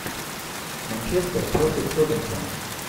манчестер против тоттенхэм